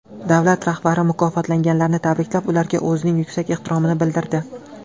Davlat rahbari mukofotlanganlarni tabriklab, ularga o‘zining yuksak ehtiromini bildirdi.